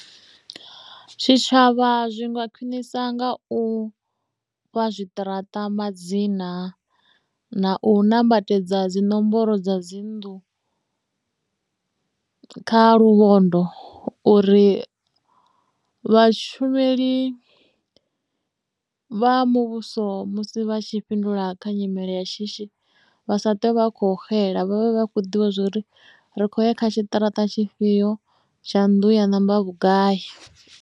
Tshitshavha zwi nga khwinisa nga u fha zwiṱaraṱa madzina na u nambatedza dzi nomboro dza dzi nnḓu kha luvhondo uri vhashumeli vha muvhuso musi vha tshi fhindula kha nyimele ya shishi vha sa ṱwe vha kho xela vha vhe vha khou ḓivha zwa uri ri khou ya kha tshiṱaratani tshifhio tsha nnḓu ya namba vhugai.